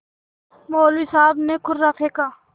मौलवी साहब ने कुर्रा फेंका